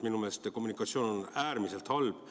Minu meelest kommunikatsioon on äärmiselt halb.